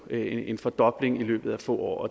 er en fordobling i løbet af få år og